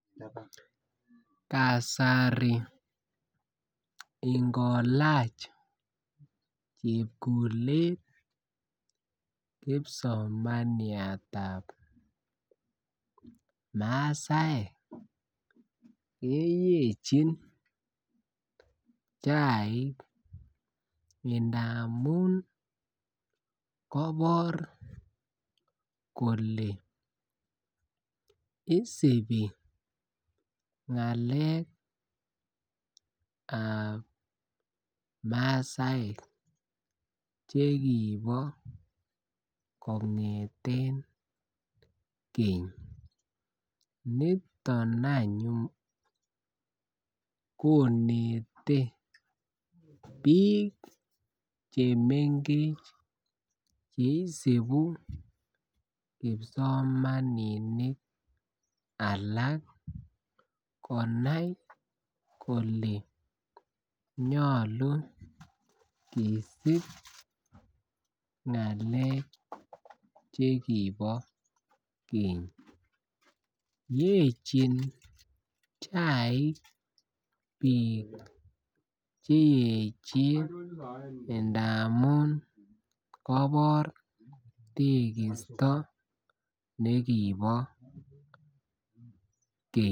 Kasari inkolach chepkulet kipsomaniatab masaek keyechin chaik ndamun kobor kole osibi ngale ab masaek chekibo kongeten Keny. Niton any kinete bik chemengech chekisibi kipsomaninik alak konai kole nyolu kosob ngale chekibo Keny. Yechin chaik bik cheyechen ndamun kobor tekisto nekibore Keny.